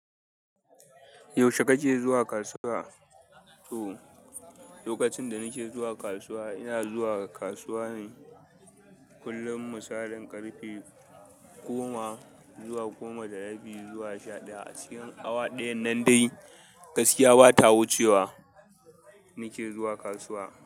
Yaushe kake zuwa kasuwa? To, lokacin da nake zuwa kasuwa ina zuwa kasuwa ne kullum. Misalin ƙarfe goma zuwa goma da rabi zuwa sha ɗaya. A cikin awa ɗayan nan dai gaskiya ba ta wucewa nake zuwa kasuwa.